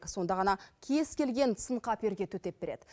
сонда ғана кез келген сын қаперге төтеп береді